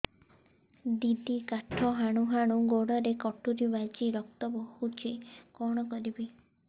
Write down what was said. ଦିଦି କାଠ ହାଣୁ ହାଣୁ ଗୋଡରେ କଟୁରୀ ବାଜି ରକ୍ତ ବୋହୁଛି କଣ କରିବି